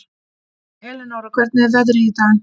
Elinóra, hvernig er veðrið í dag?